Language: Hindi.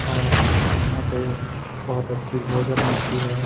और यहाँ पे बहोत अच्छी भोजन मिलती है।